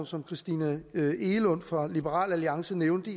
som christina egelund fra liberal alliance nævnte